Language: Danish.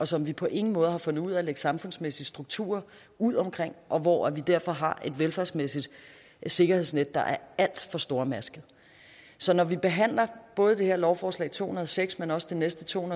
som vi på ingen måde har fundet ud af at lægge samfundsmæssige strukturer ud omkring og hvor vi derfor har et velfærdsmæssigt sikkerhedsnet der er alt for stormasket så når vi behandler både det her lovforslag to hundrede og seks men også det næste to